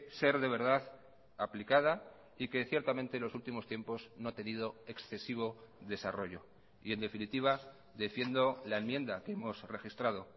ser de verdad aplicada y que ciertamente los últimos tiempos no ha tenido excesivo desarrollo y en definitiva defiendo la enmienda que hemos registrado